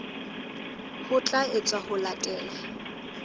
ho tla etswa ho latela